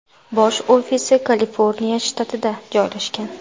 Bosh ofisi Kaliforniya shtatida joylashgan.